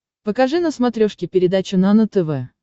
покажи на смотрешке передачу нано тв